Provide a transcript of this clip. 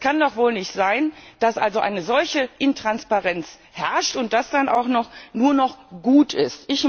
Es kann doch wohl nicht sein, dass eine solche Intransparenz herrscht und das dann auch noch nur gut ist.